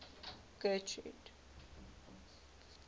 getrude